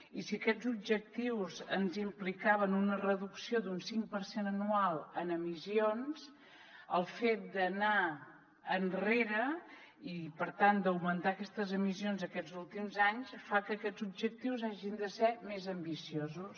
i si aquests objectius ens implicaven una reducció d’un cinc per cent anual en emissions el fet d’anar enrere i per tant d’augmentar aquestes emissions aquests últims anys fa que aquests objectius hagin de ser més ambiciosos